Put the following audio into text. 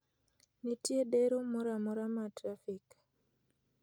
nitie dero moro amora ma trafik